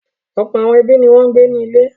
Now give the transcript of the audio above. Ọ̀pọ̀ àwọn ẹbí ni wọ́n ń gbé nílé.